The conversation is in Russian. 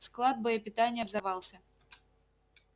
склад боепитания взорвался